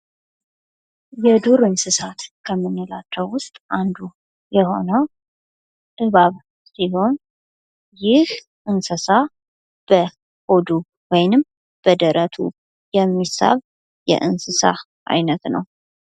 የዱር እንስሳት ከምንላቸው ውስጥ አንዱ የሆነው እባብ ሲሆን ይህ እንስሳ በሆዱ ወይም በደረቱ የሚሳብ የእንስሳ አይነት ነው ።